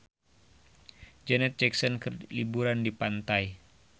Janet Jackson keur liburan di pantai